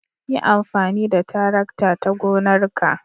Yi amfani da tarakta a gonarka.